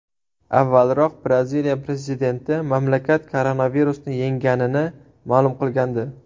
Avvalroq Braziliya prezidenti mamlakat koronavirusni yengganini ma’lum qilgandi .